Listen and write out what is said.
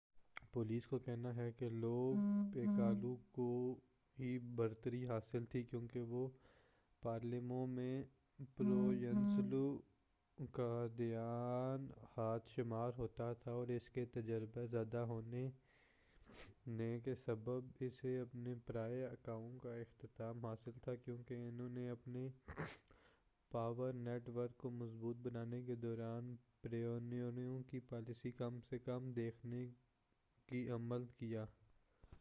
police کا کہنا ہے کہ لو پِیکالو کو ہی برتری حاصل تھی کیونکہ وہ پالرمو میں پروینزانو کا دایاں ہاتھ شمار ہوتا تھا اور اس کے تجربے زیادہ ہونے نے کے سبب اسے اپنے پرانے آقاؤں کا احترام حاصل تھا کیونکہ انہوں نے اپنے پاور نیٹ ورک کو مضبوط بنانے کے دوران پروینزانو کی پالیسی کم سے کم رکھنے کی پر عمل کیا